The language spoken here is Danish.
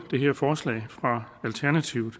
det her forslag fra alternativet